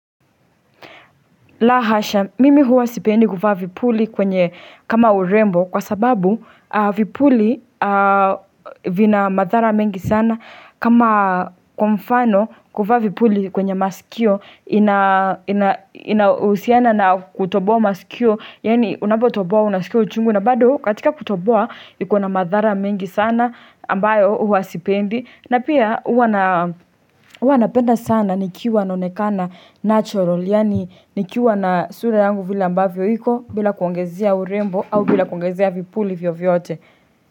La hasha, mimi huwa sipendi kuvaa vipuli kwenye kama urembo kwa sababu vipuli vina madhara mengi sana kama kwa mfano kuvaa vipuli kwenye masikio inahusiana na kutoboa masikio, yaani unapotoboa unaskia uchungu na bado katika kutoboa iko na madhara mengi sana ambayo huwa sipendi. Na pia juwa napenda sana nikiwa naonekana natural Yaani nikiwa na sura yangu vile ambavyo iko bila kuongezia urembo au bila kuongezia vipuli vyovyote.